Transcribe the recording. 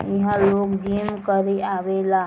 इहां लोग जिम करे आवे ला |